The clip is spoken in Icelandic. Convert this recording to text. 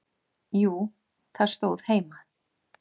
Jú, það stóð heima.